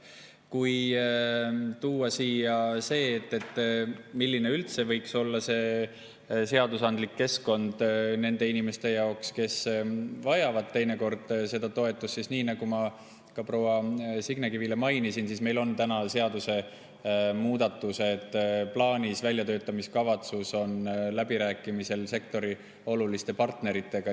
Kui tuua siin välja see, milline üldse võiks olla see seadusandlik keskkond meie inimeste jaoks, kes vajavad teinekord seda toetust, siis nii nagu ma ka proua Signe Kivile mainisin, meil on seadusemuudatused plaanis, väljatöötamiskavatsus on läbirääkimisel sektori oluliste partneritega.